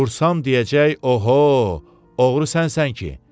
Vursam deyəcək, oho, oğru sənsən ki?